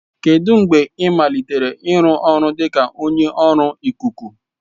Kedu mgbe ị malitere ịrụ ọrụ dị ka onye ọrụ ikuku?